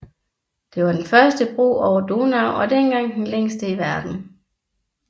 Det var den første bro over Donau og dengang den længste i verden